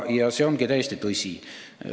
Ja see ongi täiesti tõsi.